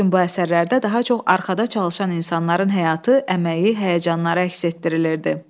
Lakin bu əsərlərdə daha çox arxada çalışan insanların həyatı, əməyi, həyəcanları əks etdirilirdi.